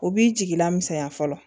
U b'i jigila misɛnya fɔlɔ